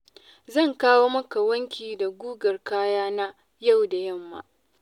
Zan kawo maka wanki da gugar kayana yau da yamma.